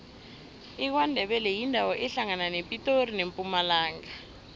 ikwandebele yindawo ehlangana nepitori nempumalanga